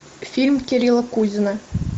фильм кирилла кузина